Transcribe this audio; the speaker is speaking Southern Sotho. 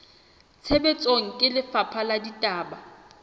tshebetsong ke lefapha la ditaba